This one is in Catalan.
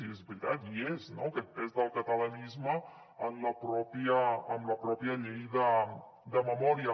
i és veritat hi és no aquest pes del catalanisme en la pròpia llei de memòria